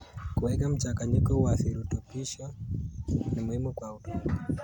Kuweka mchanganyiko wa virutubisho ni muhimu kwa udongo.